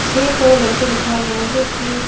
छे को लड़के दिखाये गये हैं जो की --